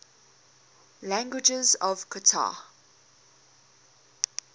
languages of qatar